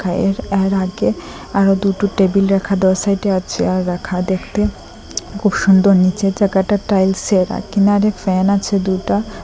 এর-এর আগে আরও দুটো টেবিল রাখা দু সাইডে আ চেয়ার রাখা দেখতে খুব সুন্দর নীচের জায়গাটা টাইলস এর কিনারে ফ্যান আছে দুটা ।